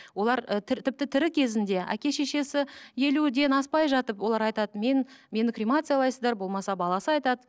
олар і тіпті тірі кезінде әке шешесі елуден аспай жатып олар айтады мен мені кремациялайсыздар болмаса баласы айтады